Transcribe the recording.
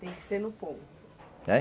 Tem que ser no ponto.